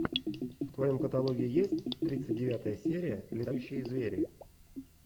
в твоем каталоге есть тридцать девятая серия летающие звери